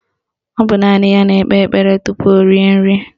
Ọ bụ naanị ya na-ekpe ekpere tupu o rie nri